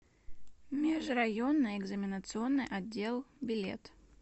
межрайонный экзаменационный отдел билет